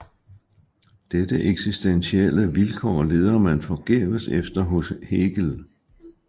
Dette eksistentielle vilkår leder man forgæves efter hos Hegel